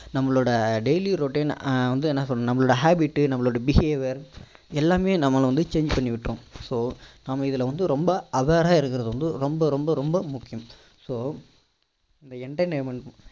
நம்மளோட daily routine வந்து என்ன சொல்ல நம்மளோட habit நம்மளோட behaviour எல்லாமே நம்மள வந்து change பண்ணி விட்டுடோம் so நம்ம இதுல வந்து ரொம்ப aware ரா இருக்கிறது வந்து ரொம்ப ரொம்ப ரொம்ப முக்கியம் so இந்த entertainment